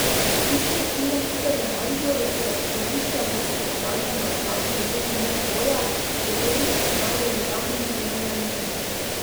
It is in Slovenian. Tri četrtine hiše v Mariboru, ki je od središča mesta oddaljena slabih deset minut hoje, je Belič prodajal z javnim zbiranjem ponudb.